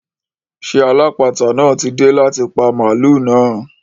Ṣé alápàáta náà ti dé láti pa màlúù náà?